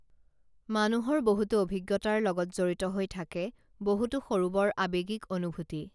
মানুহৰ বহুতো অভিজ্ঞতাৰ লগত জড়িত হৈ থাকে বহুতো সৰু বৰ আবেগিক অনুভূতি